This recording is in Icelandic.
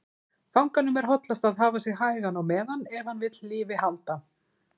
Fanganum er hollast að hafa sig hægan á meðan, ef hann vill lífi halda.